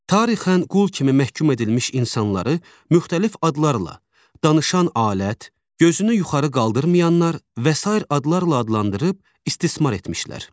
Tarixən qul kimi məhkum edilmiş insanları müxtəlif adlarla danışan alət, gözünü yuxarı qaldırmayanlar və sair adlarla adlandırıb istismar etmişlər.